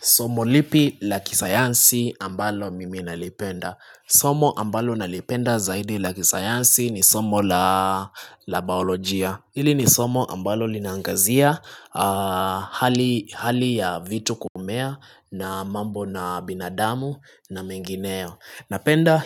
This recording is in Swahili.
Somo lipi la kisayansi ambalo mimi nalipenda. Somo ambalo nalipenda zaidi la kisayansi ni somo la baolojia. Hili ni somo ambalo linaangazia hali ya vitu kumea na mambo na binadamu na mengineo. Napenda